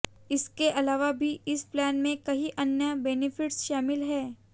इसके अलावा भी इस प्लान में कई अन्य बेनेफिट्स शामिल हैं